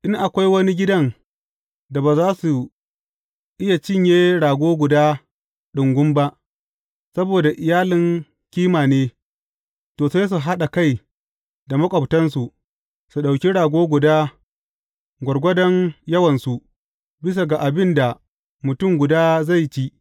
In akwai wani gidan da ba za su iya cinye rago guda ɗungum ba, saboda iyalin kima ne, to, sai su haɗa kai da maƙwabtansu, su ɗauki rago guda gwargwadon yawansu, bisa ga abin da mutum guda zai ci.